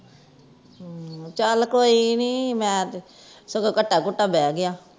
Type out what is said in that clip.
ਹੁ ਚਲ ਕੋਈ ਨਹੀਂ ਮੈਂ ਤੇ ਸਗੋਂ ਘਟਾ ਕੁਟਾ ਬਹਿ ਗਿਆ